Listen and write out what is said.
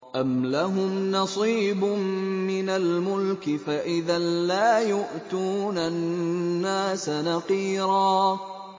أَمْ لَهُمْ نَصِيبٌ مِّنَ الْمُلْكِ فَإِذًا لَّا يُؤْتُونَ النَّاسَ نَقِيرًا